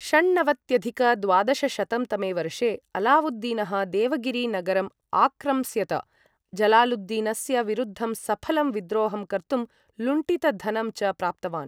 षण्णवत्यधिक द्वादशशतं तमे वर्षे अलाउद्दीनः देवगिरि नगरं आक्रम्स्यत, जलालुद्दीनस्य विरुद्धं सफलं विद्रोहं कर्तुं लुण्टितधनं च प्राप्तवान्।